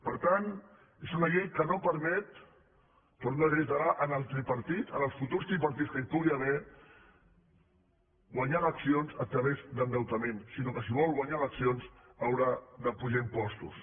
per tant és una llei que no permet ho torno a reiterar al tripartit als futurs tripartits que hi pugui haver guanyar eleccions a través d’endeutament sinó que si vol guanyar eleccions haurà d’apujar impostos